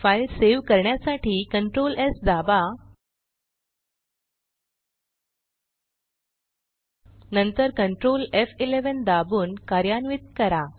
file save करण्यासाठी Ctrl S दाबा नंतर Ctrl एफ11 दाबून कार्यान्वित करा